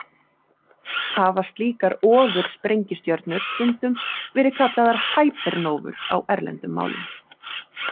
Hafa slíkar ofursprengistjörnur stundum verði kallaðar hypernóvur á erlendum málum.